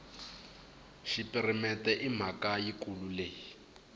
xipirimente i mhaka yikulu leyi